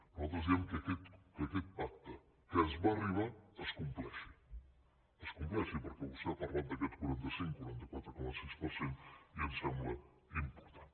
nosaltres diem que aquest pacte a què es va arribar es compleixi es compleixi perquè vostè ha parlat d’aquest quaranta cinc quaranta quatre coma sis per cent i em sembla important